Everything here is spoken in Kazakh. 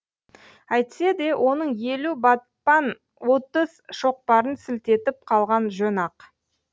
әйтсе де оның елу батпан отыз шоқпарын сілтетіп қалған жөн ақ